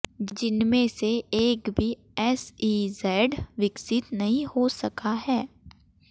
जिनमें से एक भी एसईजैड विकसित नहीं हो सका है